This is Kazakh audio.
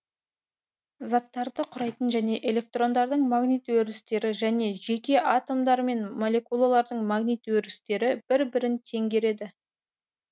заттарды құрайтын және электрондардың магнит өрістері және жеке атомдар мен моллекулалардың магнит өрістері бір бірін теңгереді